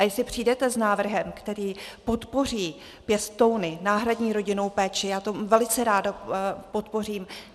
A jestli přijdete s návrhem, který podpoří pěstouny, náhradní rodinnou péči, já to velice ráda podpořím.